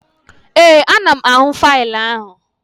Ee, ana m ahụ faịlụ ahụ